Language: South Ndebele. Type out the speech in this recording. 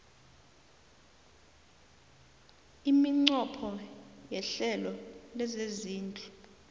iminqopho yehlelo lezezindlu